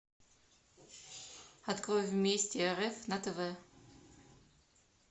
открой вместе рф на тв